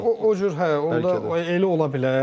Hə o cür hə, onda elə ola bilər.